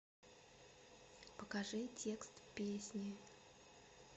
покажи текст песни